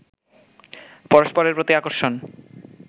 পরস্পরের প্রতি আকর্ষণ